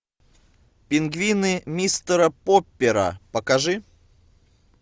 пингвины мистера поппера покажи